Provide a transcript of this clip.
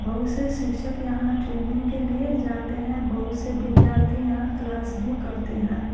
बहुत से शिक्षक यहाँ ट्रेनिंग के लिए जाते हैं बहुत से विद्यार्थी यहाँ क्लास भी करते हैं।